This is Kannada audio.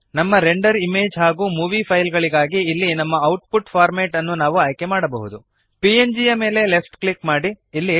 ನಮ್ಮ ರೆಂಡರ್ ಇಮೇಜ್ ಹಾಗೂ ಮೂವೀ ಫೈಲ್ ಗಳಿಗಾಗಿ ಇಲ್ಲಿ ನಮ್ಮ ಔಟ್ಪುಟ್ ಫಾರ್ಮ್ಯಾಟ್ ಅನ್ನು ನಾವು ಆಯ್ಕೆಮಾಡಬಹುದು ಪಿಎನ್ಜಿ ಯ ಮೇಲೆ ಲೆಫ್ಟ್ ಕ್ಲಿಕ್ ಮಾಡಿರಿ